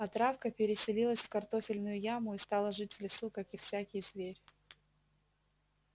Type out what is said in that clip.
а травка переселилась в картофельную яму и стала жить в лесу как и всякий зверь